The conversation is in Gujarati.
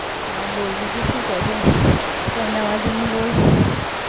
બરાબર, ભાઈ નાનો છે?